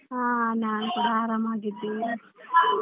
ಹಾ ನಾನ್ ಕೂಡ ಆರಾಮಾಗಿದ್ದೇನೆ.